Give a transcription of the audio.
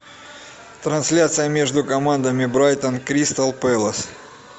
трансляция между командами брайтон кристал пэлас